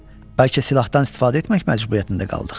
Bəlkə silahdan istifadə etmək məcburiyyətində qaldıq.